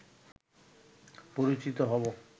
পরিচিত হবো